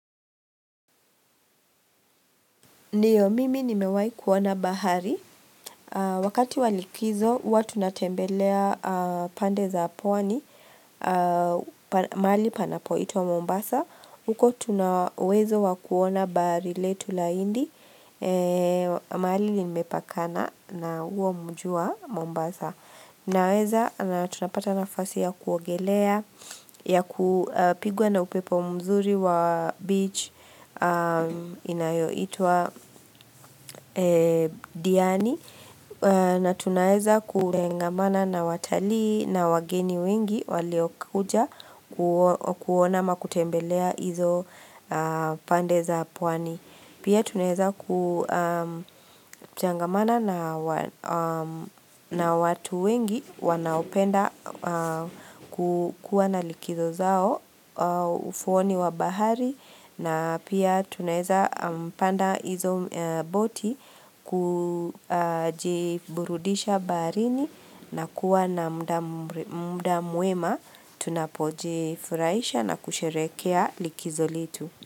Ndiyo, mimi nimewahi kuona bahari. Wakati wa likizo, huwa tunatembelea pande za pwani, mahali panapoitwa Mombasa. Uko tuna uwezo wa kuona bahari letu la hindi, mahali imepakana na huo mji wa Mombasa. Naweza, na tunapata nafasi ya kuogelea, ya kupigwa na upepo mzuri wa beach inayoitwa Diani na tunaweza kutengamana na watalii na wageni wengi waliokuja kuona kuona ama kutembelea hizo pande za pwani pia tunaweza kutangamana na watu wengi wanaopenda kukuwa na likizo zao ufuoni wa bahari na pia tunaweza panda hizo boti kujiburudisha baharini na kuwa na muda mwema tunapojifurahisha na kusherehekea likizo letu.